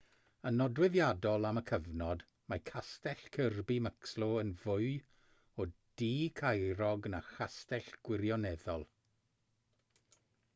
yn nodweddiadol am y cyfnod mae castell kirby muxloe yn fwy o dŷ caerog na chastell gwirioneddol